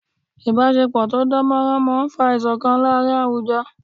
Ìbásepọ̀ tó dán mọ́rán máa n fa ìṣọ̀kan láàrin àwùjọ